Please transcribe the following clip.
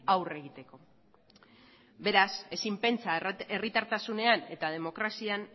aurre egiteko beraz ezin pentsa herritartasunean eta demokrazian